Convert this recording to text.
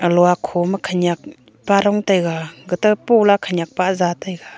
luak kho ma khanyak pa dong taiga ga to po la khanyak pa ja taiga.